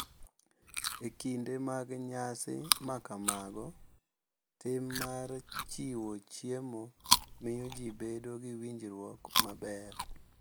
E kinde mag nyasi ma kamago, tim mar chiwo chiemo miyo ji bedo gi winjruok maber,